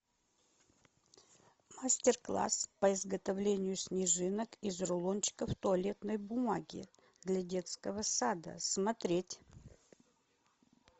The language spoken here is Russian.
мастер класс по изготовлению снежинок из рулончиков туалетной бумаги для детского сада смотреть